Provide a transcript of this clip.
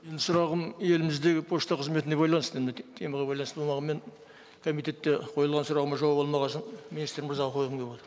менің сұрағым еліміздегі пошта қызметіне байланысты темаға байланысты болмағанымен комитетте қойылған сұрағыма жауап алмаған үшін министр мырзаға қойғым келіп отыр